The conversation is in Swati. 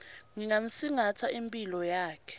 ngingamsingatsa imphilo yakhe